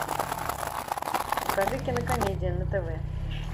покажи кинокомедия на тв